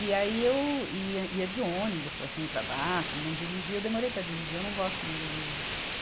E aí eu ia, ia de ônibus para cima e para baixo, não dirigia, eu demorei para dirigir, eu não gosto muito de dirigir.